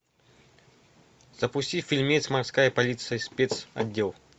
запусти фильмец морская полиция спецотдел